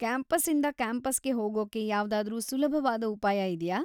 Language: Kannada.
ಕ್ಯಾಂಪಸ್ಸಿಂದ ಕ್ಯಾಂಪಸ್‌ಗೆ ಹೋಗೋಕ್ಕೆ ಯಾವ್ದಾದ್ರೂ ಸುಲಭವಾದ ಉಪಾಯ ಇದ್ಯಾ?